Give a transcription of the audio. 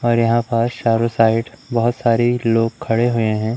और यहां पर चारों साइड बहोत सारे लोग खड़े हुए हैं।